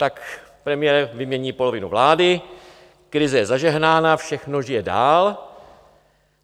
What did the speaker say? Tak premiér vymění polovinu vlády, krize je zažehnána, všechno žije dál.